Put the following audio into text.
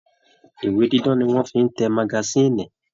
Ìwé dídán ni wọ́n fi ń te magasíìnì